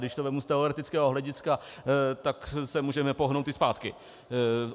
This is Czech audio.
Když to vezmu z teoretického hlediska, tak se můžeme pohnout i zpátky.